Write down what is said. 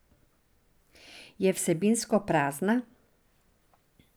Je vsebinsko prazna?